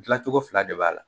Gilan cogo fila de b'a la.